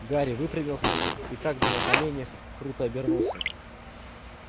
гарри выпрямился и как был на коленях круто обернулся